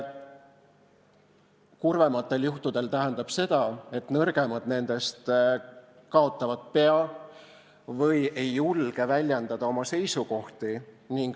Kurvematel juhtudel tähendab see seda, et nõrgemad nendest kaotavad pea või ei julge väljendada oma seisukohti.